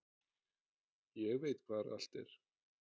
Ég veit hvar allt er.